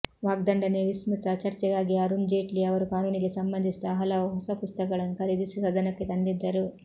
ವಾಗ್ದಂಡನೆಯ ವಿಸ್ತೃತ ಚರ್ಚೆಗಾಗಿ ಅರುಣ್ ಜೇಟ್ಲಿ ಅವರು ಕಾನೂನಿಗೆ ಸಂಬಂಧಿಸಿದ ಹಲವು ಹೊಸ ಪುಸ್ತಕಗಳನ್ನು ಖರೀದಿಸಿ ಸದನಕ್ಕೆ ತಂದಿದ್ದರು